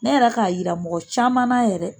Ne yɛrɛ k'a yira mɔgɔ camanna yɛrɛ.